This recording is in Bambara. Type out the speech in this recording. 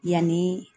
Yanni